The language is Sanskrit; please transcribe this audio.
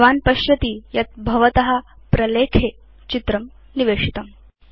भवान् पश्यति यत् भवत प्रलेखे चित्रं निवेशितम्